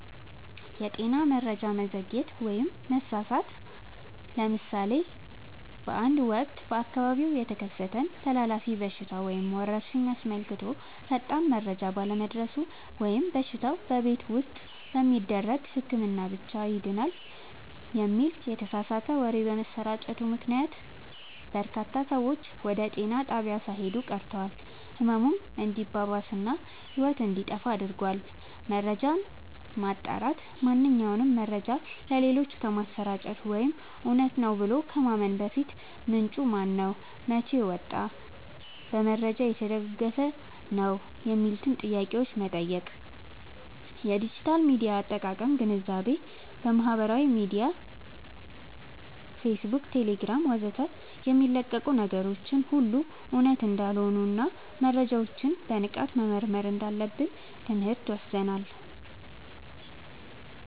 የጤና መረጃ መዘግየት/መሳሳት፦ ለምሳሌ በአንድ ወቅት በአካባቢው የተከሰተን ተላላፊ በሽታ ወይም ወረርሽኝ አስመልክቶ ፈጣን መረጃ ባለመድረሱ ወይም በሽታው "በቤት ውስጥ በሚደረግ ህክምና ብቻ ይድናል" የሚል የተሳሳተ ወሬ በመሰራጨቱ ምክንያት፣ በርካታ ሰዎች ወደ ጤና ጣቢያ ሳይሄዱ ቀርተው ህመሙ እንዲባባስ እና ህይወት እንዲጠፋ አድርጓል። መረጃን ማጣራት፦ ማንኛውንም መረጃ ለሌሎች ከማሰራጨት ወይም እውነት ነው ብሎ ከማመን በፊት፣ "ምንጩ ማነው? መቼ ወጣ? በማስረጃ የተደገፈ ነው?" የሚሉትን ጥያቄዎች መጠየቅ። የዲጂታል ሚዲያ አጠቃቀም ግንዛቤ፦ በማህበራዊ ሚዲያ (ፌስቡክ፣ ቴሌግራም ወዘተ) የሚለቀቁ ነገሮች ሁሉ እውነት እንዳልሆኑና መረጃዎችን በንቃት መመርመር እንዳለብን ትምህርት ወስደናል።